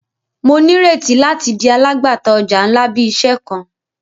Mo nireti lati di alagbata ọja nla bi iṣẹ kan.